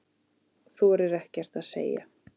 Þorir ekkert að segja.